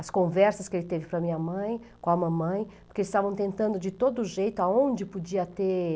As conversas que ele teve para a minha mãe, com a mamãe, porque eles estavam tentando de todo jeito, aonde podia ter...